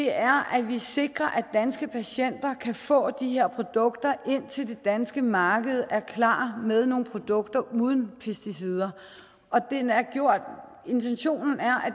er at vi sikrer at danske patienter kan få de her produkter indtil det danske marked er klar med nogle produkter uden pesticider og intentionen er